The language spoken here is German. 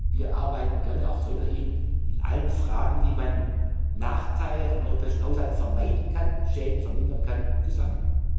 Wir arbeiten gerne auch weiterhin in allen Fragen, wie man Nachteile am europäischen Haushalt vermeiden kann, Schäden vermindern kann, zusammen.